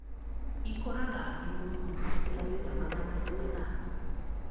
Ĩkũraga igũrũ mũno ta mita magana manana.